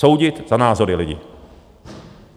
Soudit za názory lidi.